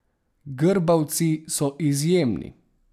Grbavci so izjemni.